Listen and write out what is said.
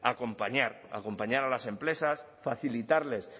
acompañar acompañar a las empresas facilitarles